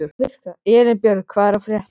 Elínbjörg, hvað er að frétta?